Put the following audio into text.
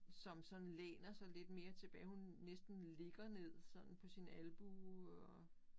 Som sådan læner sig lidt mere tilbage. Hun næsten ligger ned sådan på sin albue og